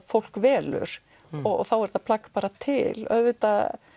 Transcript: fólk velur og þá er þetta plagg bara til auðvitað